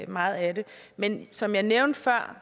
meget af det men som jeg nævnte før